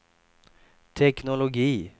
teknologi